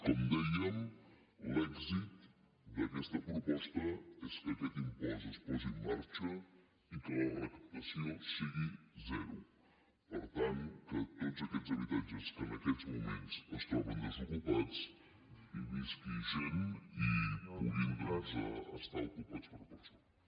com dèiem l’èxit d’aquest proposta és que aquest impost es posi en marxa i que la recaptació sigui zero per tant que a tots aquests habitatges que en aquests moments es troben desocupats hi visqui gent i puguin doncs estar ocupats per persones